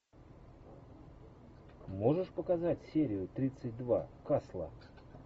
можешь показать серию тридцать два касла